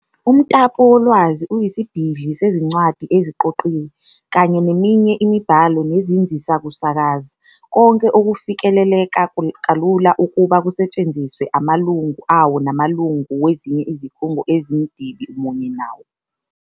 Umtapowolwazi uyisibhidli sezincwadi eziqoqiwe, kanye neminye imibhalo nezinzisakusakaza, konke okufikeleleka kalula ukuba kusetshenziswe amalungu awo namalungu wezinye izikhungo ezimdibi munye wawo.